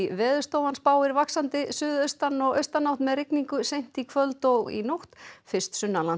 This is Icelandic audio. Veðurstofan spáir vaxandi suðaustan og austanátt með rigningu seint í kvöld og nótt fyrst